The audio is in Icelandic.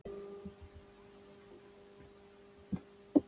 Helgi Sigurðsson Besti samherjinn?